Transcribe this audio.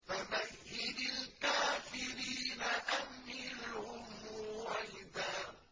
فَمَهِّلِ الْكَافِرِينَ أَمْهِلْهُمْ رُوَيْدًا